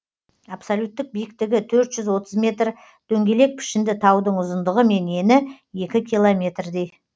абсолюттік биіктігі төрт жүз отыз метр метр дөңгелек пішінді таудың ұзындығы мен ені екі километрдей